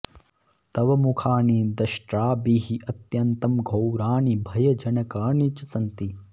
तव मुखानि दंष्ट्राभिः अत्यन्तं घोराणि भयजनकानि च सन्ति